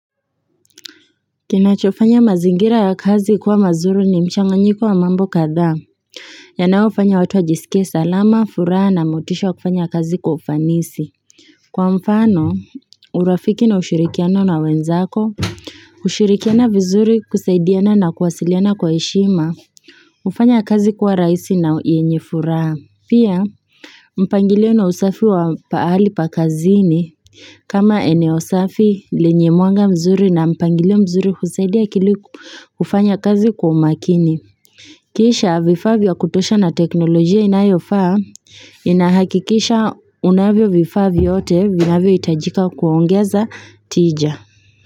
Kinachofanya mazingira ya kazi kuwa mazuri ni mchanganyiko wa mambo kadhaa yanayofanya watu wajisikie salama furaha na motisha wa kufanya kazi kwa ufanisi kwa mfano urafiki na ushirikiano na wenzako kushirikiana vizuri kusaidiana na kuwasiliana kwa heshima hufanya kazi kuwa rahisi na yenye furaha pia mpangilio na usafi wa pahali pa kazini kama eneo safi, lenye mwanga mzuri na mpangilio mzuri husaidia akili kufanya kazi kwa makini. Kisha vifaa vya kutosha na teknolojia inayofaa inahakikisha unavyo vifaa vyote vinavyohitajika kuongeza tija.